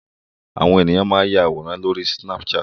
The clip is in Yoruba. Àwọn ènìyàn máa ń ya àwòrán lóri snapchat.